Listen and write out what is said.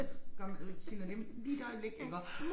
Og så gør man øh signalerer man lige et øjeblik iggå